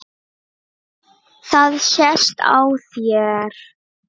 Það sést á þér